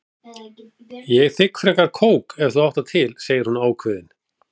Ég þigg frekar kók ef þú átt það til, segir hún ákveðin.